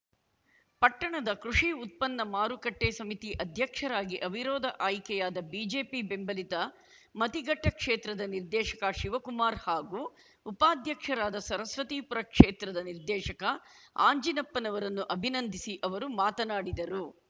ಪಟ್ಟಣದ ಕೃಷಿ ಉತ್ಪನ್ನ ಮಾರುಕಟ್ಟೆಸಮಿತಿ ಅಧ್ಯಕ್ಷರಾಗಿ ಅವಿರೋಧ ಆಯ್ಕೆಯಾದ ಬಿಜೆಪಿ ಬೆಂಬಲಿತ ಮತಿಘಟ್ಟ ಕ್ಷೇತ್ರದ ನಿರ್ದೇಶಕ ಶಿವಕುಮಾರ್‌ ಹಾಗೂ ಉಪಾಧ್ಯಕ್ಷರಾದ ಸರಸ್ವತಿಪುರ ಕ್ಷೇತ್ರದ ನಿರ್ದೇಶಕ ಅಂಜನಪ್ಪರನ್ನು ಅಭಿನಂದಿಸಿ ಅವರು ಮಾತನಾಡಿದರು